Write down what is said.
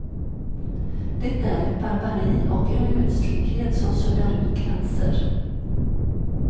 Det är ett barbari och en ödslighet som suddar ut gränser.